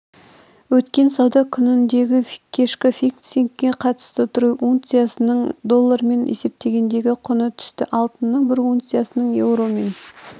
өткен сауда күніндегі кешкі фиксингке қатысты трой унциясының доллармен есептегендегі құны түсті алтынның бір унциясының еуромен